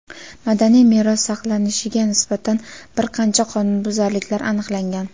madaniy meros saqlanilishiga nisbatan bir qancha qonunbuzarliklar aniqlangan.